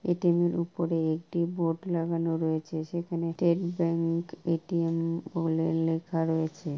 এ T M.. এর উপরে একটি বোর্ড লাগানো রয়েছে। সেখানে State Bank A T M.. বলে লেখা রয়েছে।